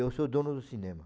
eu sou dono do cinema.